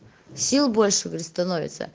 сил больше говорит становится